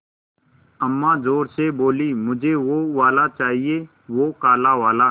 अम्मा ज़ोर से बोलीं मुझे वो वाला चाहिए वो काला वाला